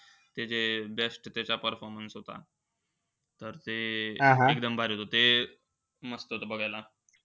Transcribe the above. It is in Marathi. त्याचे best त्याचा performance होता. तर ते ते एकदम भारी होतं. ते मस्त होतं बघायला.